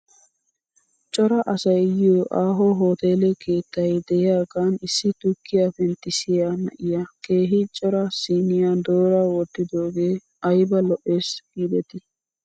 Cora asay yiyoo aaho hoteele keettay de'iyaagan issi tukkiyaa penttissiyaa na'iyaa keehi cora siiniyaa doora wottidoogee ayba lo'es giidetii .